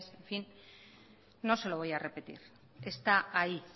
no se lo voy a repetir está ahí